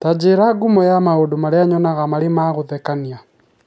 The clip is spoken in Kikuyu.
Ta njĩĩra ngumo ya maũndũ marĩa nyonaga marĩ ma mathekania